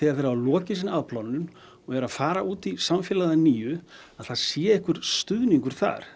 þeir hafa lokið sinni afplánun og eru að fara út í samfélagið að nýju að það sé einhver stuðningur þar